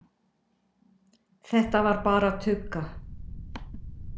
Þetta var bara tugga.